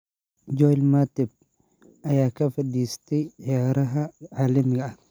Joel Matip (Cameroon) ayaa ka fariistay ciyaaraha caalamiga ah.